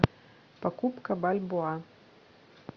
покупка бальбоа